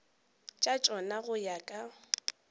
tša tšona go ya ka